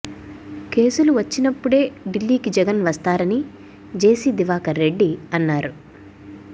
కేసులు వచ్చినప్పుడే ఢిల్లీకి జగన్ వస్తారని జేసీ దివాకర్ రెడ్డి అన్నారు